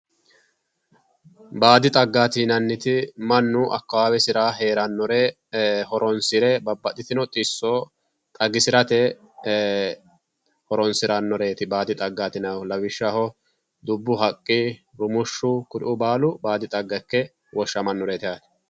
Baadi xaggaati yinanniti mannu qooxeessisira heerannore horoonsire babbaxxitino xissora xagisirate horoonsirannoreeti baadi xaggaati yinannihu lawishshaho rumushshu dubbu haqqi kuni baalu baadi xagga yaamantanno.